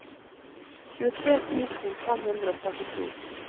tjuetre tusen fem hundre og trettito